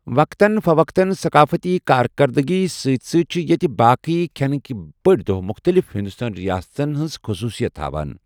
وقتاً فوقتاً، ثقافتی کار کَردٕگی سۭتۍ سۭتۍ چھِ یتہِ باقی کھٮ۪نٕک بٔڑ دۄہہ مختلف ہندوستٲنی ریاستن ہنٛز خصوٗصیت ہاوان۔